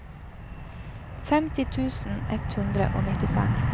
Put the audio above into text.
femti tusen ett hundre og nittifem